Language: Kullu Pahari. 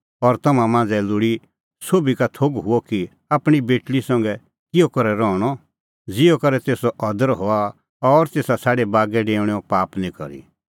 और तम्हां मांझ़ै लोल़ी सोभी का थोघ हुअ कि आपणीं बेटल़ी संघै किहअ करै रहणअ ज़िहअ करै तेसो अदर हआ और तेसा छ़ाडी बागै डेऊणेओ पाप निं करी